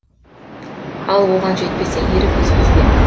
ал оған жетпесе ерік өзіңізде